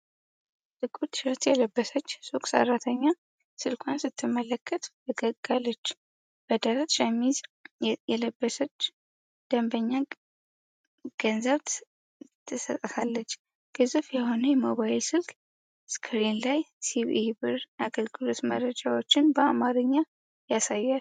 ጥቁር ቲሸርት የለበሰች ሱቅ ሰራተኛ ስልኳን ስትመለከት ፈገግ አለች። በደረት ሸሚዝ የለበሰች ደንበኛ ገንዘብ ትሰጣለች። ግዙፍ የሆነ የሞባይል ስልክ ስክሪን ስለ ሲቢኢ ብር አገልግሎት መረጃዎችን በአማርኛ ያሳያል።